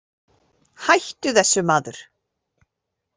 Hættu þessu maður!